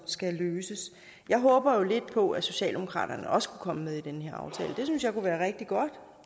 skal løses jeg håber lidt på at socialdemokratiet også kan komme med i den her aftale jeg synes at det kunne være rigtig godt